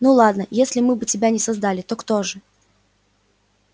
ну ладно если не мы бы тебя создали то кто же